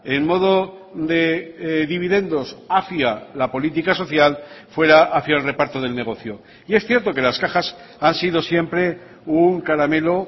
en modo de dividendos hacia la política social fuera hacia el reparto del negocio y es cierto que las cajas han sido siempre un caramelo